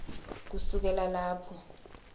kusukela lapho